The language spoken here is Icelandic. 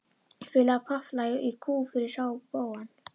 Spila popplag í kú fyrir spóann.